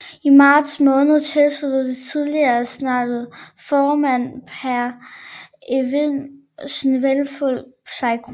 I marts måned tilsluttede det tidligere senats formand Pehr Evind Svinhufvud sig gruppen